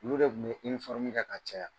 Olu de tun bɛ kƐ ka caya.